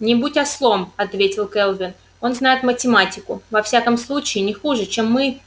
не будь ослом ответил кэлвин он знает математику во всяком случае не хуже чем мы